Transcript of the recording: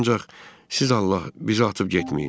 ancaq siz Allah bizi atıb getməyin.